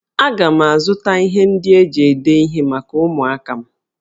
Aga m azụta ihe ndị eji ede ihe maka ụmụaka m